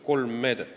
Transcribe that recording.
Kolm meedet.